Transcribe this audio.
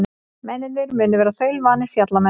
Mennirnir munu vera þaulvanir fjallamenn